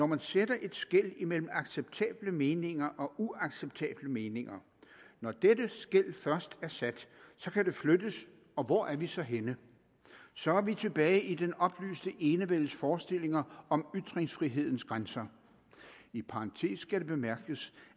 man sætter et skel mellem acceptable meninger og uacceptable meninger når dette skel først er sat kan det flyttes og hvor er vi så henne så er vi tilbage i den oplyste enevældes forestillinger om ytringsfrihedens grænser i parentes skal det bemærkes